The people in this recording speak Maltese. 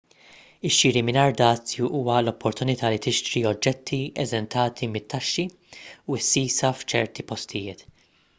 ix-xiri mingħajr dazju huwa l-opportunità li tixtri oġġetti eżentati mit-taxxi u s-sisa f'ċerti postijiet